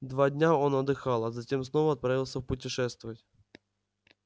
два дня он отдыхал а затем снова отправился путешествовать